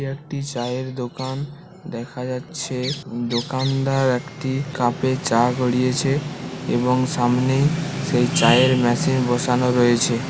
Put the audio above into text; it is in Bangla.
এটি একটি চায়ের দোকান দেখা যাচ্ছে দোকানদার একটি কাপে চা গড়িয়েছে এবং সামনেই সেই চায়ের মেশিন বসানো রয়েছে।